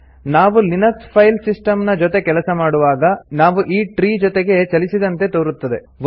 ನಾವು Linux file system ನ ಜೊತೆ ಕೆಲಸ ಮಾಡುವಾಗ ನಾವು ಈ ಟ್ರೀ ಜೊತಗೆ ಚಲಿಸಿದಂತೆ ತೋರುತ್ತದೆ